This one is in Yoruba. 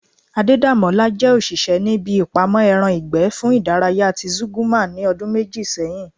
Adedamola jẹ́ òṣìṣẹ́ ní ibi ìpamọ́ ẹran ìgbẹ́ fún ìdárayá ti Zúgúrmà ní ọdún méjì sẹ́yìn